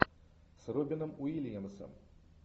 с робином уильямсом